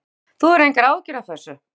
Erla: Þú hefur engar áhyggjur af þessu?